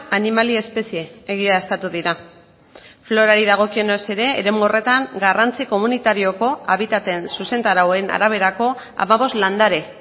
animali espezie egiaztatu dira florari dagokionez ere eremu horretan garrantzi komunitarioko habitateen zuzentarauen araberako hamabost landare